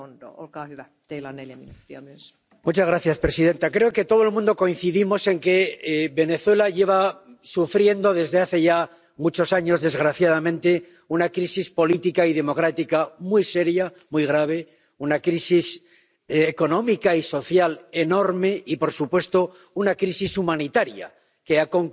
Señora presidenta, creo que todos coincidimos en que Venezuela lleva sufriendo desde hace ya muchos años desgraciadamente una crisis política y democrática muy seria, muy grave, una crisis económica y social enorme y, por supuesto, una crisis humanitaria, que ha concluido con todo lo que hemos dicho.